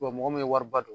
mɔgɔ min ye wari ba don